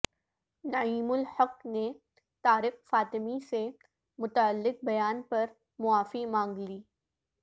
نعیم الحق نے طارق فاطمی سے متعلق بیان پر معافی مانگ لی